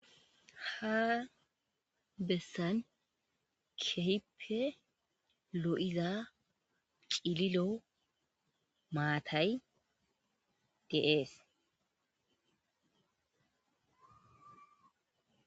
ha bessan kehippe lo'iza cililo maatay de'ees